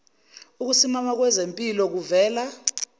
ukusimama kwezimpilo kuvela